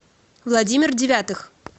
владимир девятых